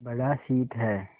बड़ा शीत है